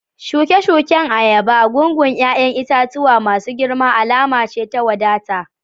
Shuke-shuken ayaba, gungun 'ya'yan itatuwa masu girma alama ce ta wadata